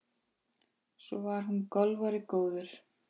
Svo var hún golfari góður.